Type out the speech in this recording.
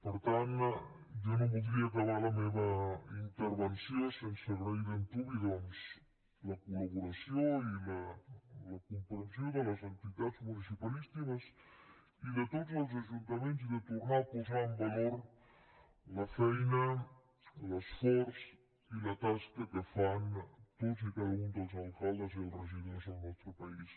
per tant jo no voldria acabar la meva intervenció sense agrair d’antuvi doncs la col·laboració i la comprensió de les entitats municipalistes i de tots els ajuntaments i de tornar a posar en valor la feina l’esforç i la tasca que fan tots i cada un dels alcaldes i els regidors del nostre país